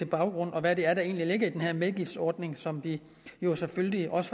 baggrunden og hvad det er der egentlig ligger i den her medgiftsordning som vi jo selvfølgelig også